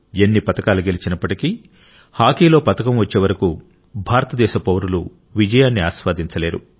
ఎన్ని పతకాలు గెలిచినప్పటికీ హాకీలో పతకం వచ్చే వరకు భారతదేశ పౌరులు విజయాన్ని ఆస్వాదించలేరు